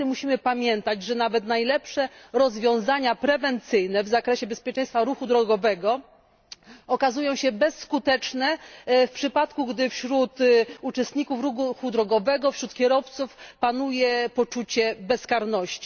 Niestety musimy pamiętać, że nawet najlepsze rozwiązania prewencyjne w zakresie bezpieczeństwa ruchu drogowego okazują się bezskuteczne w przypadku, gdy wśród uczestników ruchu drogowego, wśród kierowców panuje poczucie bezkarności.